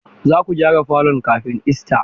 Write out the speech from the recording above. Zaku gyara falon kafin Ista?